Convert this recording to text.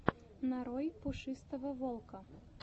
нарой пушистого волка